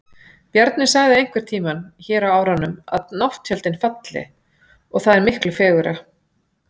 Bjarni sagði einhverntíma hér á árunum að nátttjöldin falli, og það er miklu fegurra.